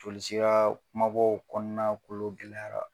Joli sira ma bɔ o kɔɔna kolon gɛlɛyara